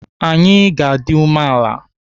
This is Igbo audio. Anyị ga-adị umeala.